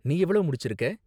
நீ எவ்ளோ முடிச்சிருக்க?